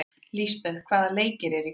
Lisbeth, hvaða leikir eru í kvöld?